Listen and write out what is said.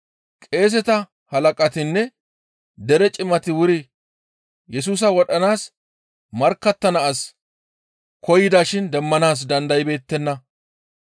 qeeseta halaqatinne dere cimati wuri Yesusa wodhanaas markkattana as koyida shin demmanaas dandaybeettenna.